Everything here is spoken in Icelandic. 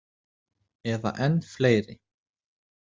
Eða enn fleiri.